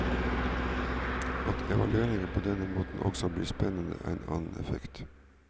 At evalueringen på denne måten også blir spennende, er en annen effekt.